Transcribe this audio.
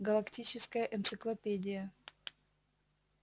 галактическая энциклопедия